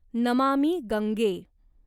Namami Gange